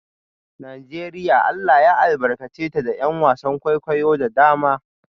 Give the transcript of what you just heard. Najeriya Allah ya albarkace ta da ’yan wasan kwaikwayo da dama